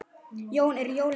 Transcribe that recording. Jón: Eru jólin komin?